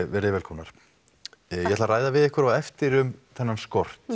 veriði velkomnar ég ætla að ræða við ykkur á eftir um skortinn